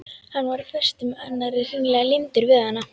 Hann var á föstu með annarri, hreinlega límdur við hana.